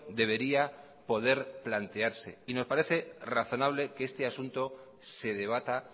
debería poder plantearse y nos parece razonable que este asunto se debata